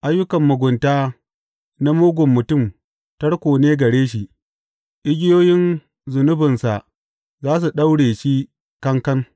Ayyukan mugunta na mugun mutum tarko ne gare shi; igiyoyin zunubinsa za su daure shi kankan.